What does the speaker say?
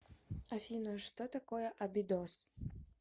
афина что такое абидос